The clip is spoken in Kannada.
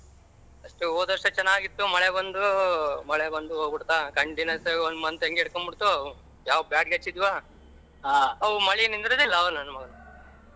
ಎಷ್ಟು ಹೋದವರ್ಷ ಚೆನ್ನಾಗಿತ್ತು ಮಳೆ ಬಂದು ಮಳೆ ಬಂದು ಹೋಗಬುಡತ continuous ಗ್ one month ಹಾಗೆ ಇಡಕಬುಡತು ನಾವ್ ಬ್ಯಾಡಗಿ ಹಚ್ಚಿದವ ಮಳೆ ನಿಂದರಿದಿಲ್ಲ .